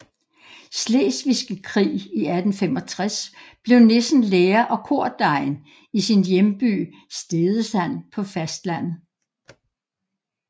Slesvigske krig i 1865 blev Nissen lærer og kordegn i sin hjemby Stedesand på fastlandet